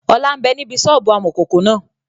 Ọlá ń bẹ níbi sọ́ọ́bù amọ̀kòkò náà